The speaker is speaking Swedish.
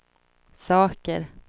saker